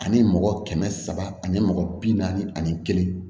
Ani mɔgɔ kɛmɛ saba ani mɔgɔ bi naani ani kelen